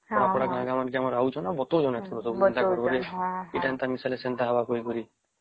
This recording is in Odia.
ପଡା ପଡା ଗାଁ ଗାଁ କି ଆସୁଛନ୍ତି ଆଉ ବତାଉଛନ୍ତି ଏଥିରୁ ସବୁ ଏନ୍ତା ଏଟା ମିଶାଇଲେ ଏଟା ହବ କରି